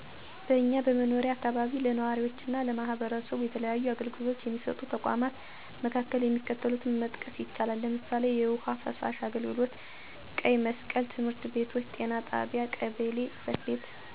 በእኛ የመኖሪያ አካባቢ ለነዋሪዎችና ለማህበረሰቡ የተለያዩ አገልግሎቶች የሚሰጡ ተቋማት መካከል የሚከተሉትን መጥቀስ ይቻላል፦ ለምሳሌ፣ የውሀና ፍሳሽ አገልግሎት፣ ቀይ መስቀል፣ ትምህርት ቤቶች፣ ጤና ጣቢያ፣ ቀበሌ ጽፈት ቤት፣ ክፍለ ከተማ አስተዳደር፣ የወጣቶች ስፖርትና መዝናኛ ማዕከል፣ አነስተኛና ጥቃቅን ተቋማት፣ የወሳኝ ኩነት አገልግሎት፣ የመብራት ሀይል አገልግሎት መስሪያ ቤት፣ የንግድ እና ሸማቾች ማህበር ወዘተ ናቸው።